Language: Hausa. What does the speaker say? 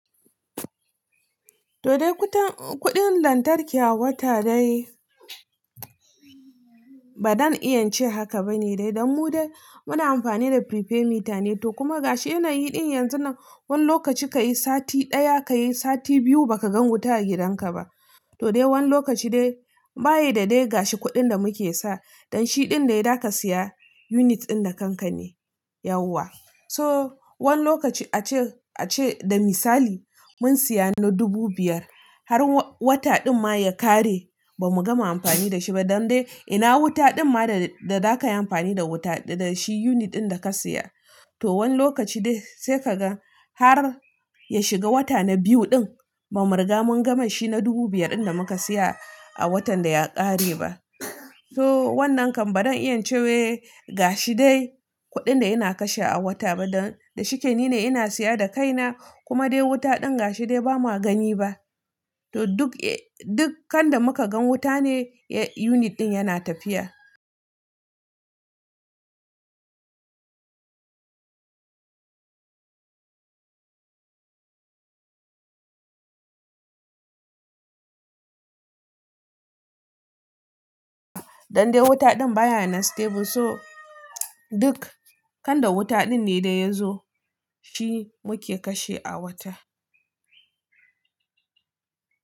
To dai kuɗin lantarki a wata dai, ba don in ce haka ba ne dai, dan mu dai muna amfani da pre-paid mita ne, to kuma gashi yana yi ɗin yanzu nan, wani lokaci ka yi sati ɗaya, ka yi sati biyu ba ka gan wuta a gidanka ba. To dai wani lokaci dai ba yi da dai gashi kuɗin da muke sa, dan shi ɗin dai za ka siya unit ɗin da kanka ne, yauwa. So wani lokaci a ce, a ce da misali mun siya na dubu biyar, har wata ɗin ma ya ƙare ba mu gama amfani da shi ba, dan dai ina wuta ɗin ma da, da za ka yi amfani da wuta, da shi unit ɗin da ka siya. To wani lokaci dai sai ka gan har ya shiga wata na biyu ɗin ba mu riga mun gama shi na dubu biyar ɗin da muka siya a watan da ya ƙare ba. So wannan kan ba don in ce wai gashi dai kuɗin da yana kashe a wata ba, dan da shike ni ne ina siya da kaina, kuma dai wuta ɗin gashi dai ba ma gani ba. To duk, duk kanda muka gan wuta ne unit ɗin yana tafiya. Dan dai wuta ɗin baya yana stable, so duk kanda wuta ɗin ne da ya zo, shi muke kashe a wata.